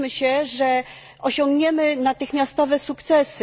Nie łudźmy się, że osiągniemy natychmiastowe sukcesy.